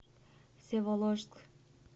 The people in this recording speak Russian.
всеволожск